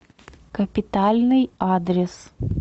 капитальный адрес